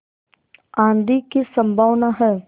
आँधी की संभावना है